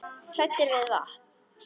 Hræddir við vatn!